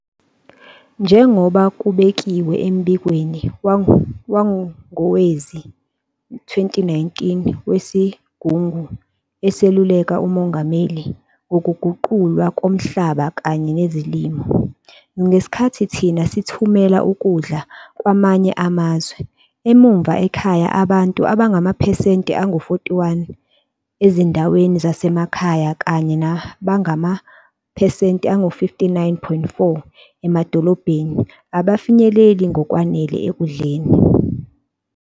Njengoba kubekiwe embikweni wangowezi-2019 weSigungu Eseluleka uMongameli Ngokuguqulwa komhlaba kanye Nezolimo, ngesikhathi thina sithumela ukudla kwamanye amazwe, emuva ekhaya abantu abangamaphesenti angu-41 ezindaweni zasemakhaya kanye nabangamaphesenti angu-59.4 emadolobheni abafinyeleli ngokwanele ekudleni.